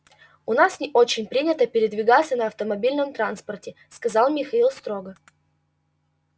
у нас не очень принято передвигаться на автомобильном транспорте сказал михаил строго